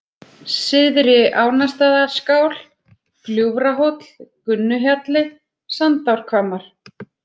Syðri-Ánastaðaskál, Gljúfrahóll, Gunnuhjalli, Sandárhvammar